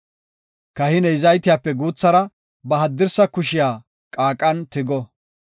Kahiney zaytiyape guuthara ba haddirsa kushiya qaaqan tigo.